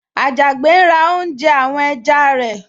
Àjàgbé ń ra oúnjẹ àwọn ẹja rẹ̀